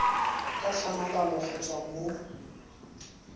ka tlhamalalo go tswa mo